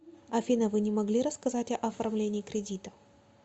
афина вы не могли рассказать о оформлениии кредита